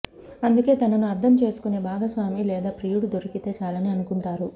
అందుకే తనను అర్థం చేసుకునే భాగస్వామి లేదా ప్రియుడు దొరికితే చాలని అనుకుంటారు